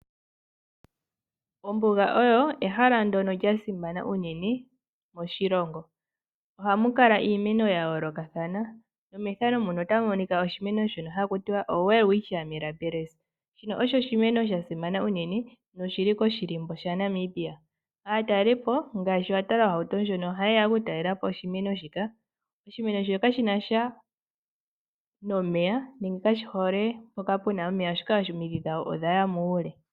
Ombuga oyo ehala ndjono lyasimana unene moshilongo ohamu kala iimeno ya yoolokathana nomethano mono otamu monika oshimeno shono haku tiwa oWelwitcia Milabils shino osho oshimeno sha simana unene noshili koshilimbo shNamibia aatalelipo ngaashi watala ohauto ndjono ohaye yeya okutalela po oshimeno shino kashinasha nomeya sho kashi hole mpoka pena omeya oshoka omidhi dhasho odhaya muule.